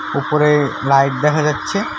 উপরে লাইট দেখা যাচ্ছে।